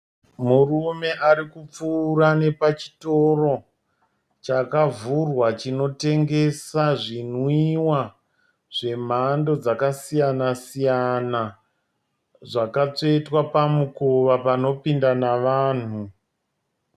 Murume arikupfuura nepachitoro chakavhurwa chinotengesa zvinwiwa zvemhando dzakasiyana-siyana, zvakatsvetwa pamukova panopinda nevanhu.